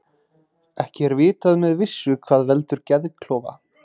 Ekki er vitað með vissu hvað veldur geðklofa.